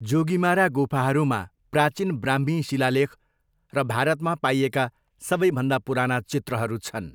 जोगीमारा गुफाहरूमा प्राचीन ब्राह्मी शिलालेख र भारतमा पाइएका सबैभन्दा पुराना चित्रहरू छन्।